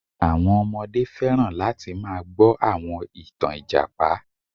Àwọn ọmọdé fẹ́ràn láti máa gbọ àwọn ìtàn Ìjàpá